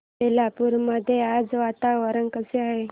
बेलापुर मध्ये आज वातावरण कसे आहे